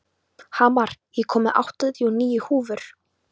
Hamar, ég kom með áttatíu og níu húfur!